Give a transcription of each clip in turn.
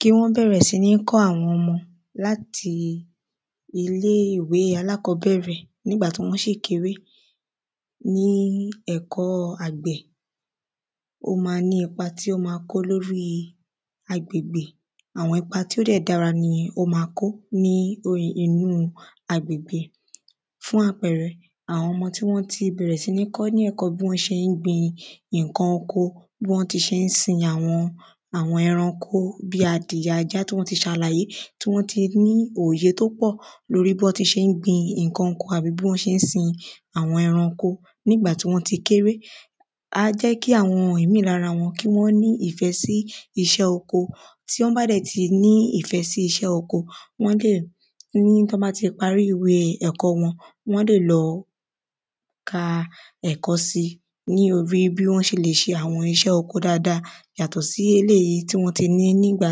Kí wọ́n bẹ̀rẹ̀ sí ní kọ́ àwọn ọmọ láti ilé ìwé alákọ́bẹ̀rẹ̀ nígbà tí wọ́n ṣì kéré ní ẹ̀kọ́ àgbẹ̀ ó má ní ipa tí ó má kó lórí agbègbè. Àwọn ipa tí ó dẹ̀ dára ni ó má kó ní inú agbègbè fún àpẹrẹ àwọn ọmọ tí wọ́n ti bẹ̀rẹ̀ sí ní kọ́ ní ẹ̀kọ́ bí wọ́n ṣé ń gbin nǹkan oko bí wọ́n ti ṣe ń sin àwọn àwọn ẹrankó bí adirẹ ajá tí wọ́n ti ṣàlàyé tí wọ́n ti ní òye tó pọ̀ lórí bọ́n ti ṣe ń gbin nǹkan oko àbí bọ́n ti ṣe ń sin àwọ́n ẹranko nígbà tí wọ́n ti kéré. Á jẹ́ kí àwọn ìmí lára wọn kí wọ́n nífẹ̀ sí iṣẹ́ oko tí wọ́n bá dẹ̀ ti nífẹ̀ sí iṣẹ́ oko wọ́n lè ní tí wọ́n bá ti parí ẹ̀kọ́ wọn wọ́n lè lọ ka ẹ̀kó sí lórí bí wọ́n ṣe le ṣe àwọn iṣẹ́ oko dáada yàtọ̀ sí eléèyí tí wọ́n ti ní nígbà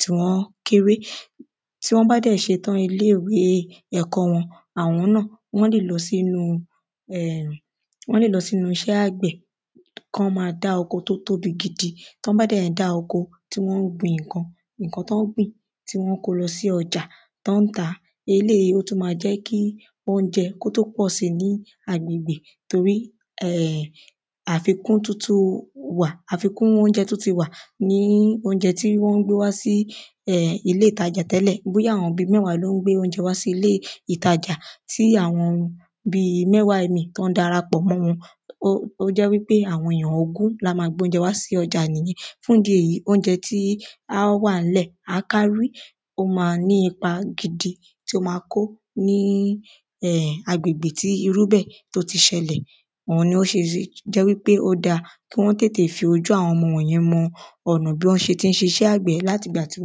tí wọ́n kéré. Tí wọ́n bá dẹ̀ ṣe tán ilé ìwé ẹ̀kọ́ wọn àwọn náà wọ́n lè lọ sínú wọ́n lè lọ síní iṣẹ́ àgbẹ̀ kán má dá oko tó tóbi gidi tán bá dẹ̀ ń dá oko tán ń gbin nǹkan nǹkan tán ń gbìn tí wọ́n ń kó lọ sí ọjà tán ń tà eléèyí ó tún má jẹ́ kí óúnjẹ kí ó tún pọ̀ sí ní agbègbè torí um àfikún óúnjẹ tún ti wà ní óúnjẹ tí wọ́n ń gbé wá sí um ilé ìtajà tẹ́lẹ̀ um bóyá àwọn bí mẹ́wàá ló ń gbé óúnjẹ wá sí ilé ìtajà tí àwọn bí mẹ́wàá míì tán dara pọ̀ mọ́ wọn ó jẹ́ ó jẹ́ wípé àwọn èyàn ogún lá má gbé óúnjẹ wá sí ọjà nìyẹn fún ìdí èyí óúnjẹ tí á wà ńlẹ̀ á kárí ó má ní ipa gidi tí ó má kó um agbègbè tí irú bẹ̀ tó tó ti ṣẹlẹ̀ oun ni ó ṣe jẹ́ wípé ó dá kí wọ́n tètè ṣe fi ojú àwọn ọmọ yẹn mọ ọ̀nà bí wọ́n ṣé ń ṣe iṣẹ́ àgbẹ̀ láti ìgbà tí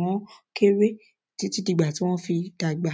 wọ́n kéré títí dìgbà tí wọ́n fi dàgbà.